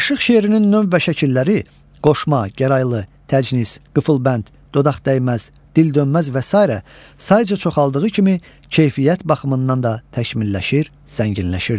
Aşıq şeirinin növ və şəkilləri qoşma, gəraylı, təcnis, qıfılbənd, dodaqdəyməz, dildönməz və sairə sayıca çoxaldığı kimi, keyfiyyət baxımından da təkmilləşir, zənginləşirdi.